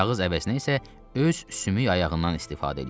Kağız əvəzinə isə öz sümük ayağından istifadə eləyirdi.